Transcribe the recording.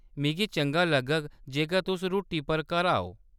मिगी चंगा लग्गग जेकर तुस रुट्टी पर घर आओ।